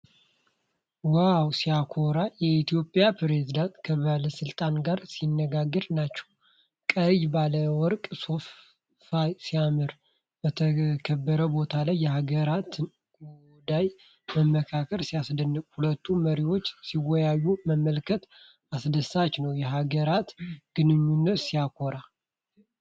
ዋው ሲያኮራ! የኢትዮጵያ ፕሬዝዳንት ከባለሥልጣን ጋር ሲነጋገሩ ናቸው። ቀይ ባለወርቅ ሶፋ ሲያምር! በተከበረ ቦታ ላይ የሀገራትን ጉዳይ መምከር ሲያስደንቅ! ሁለቱ መሪዎች ሲወያዩ መመልከት አስደሳች ነው። የሀገራት ግንኙነት ሲያኮራ!